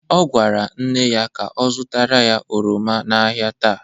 Ọ gwara nne ya ka ọ zụtara ya oroma n'ahịa taa.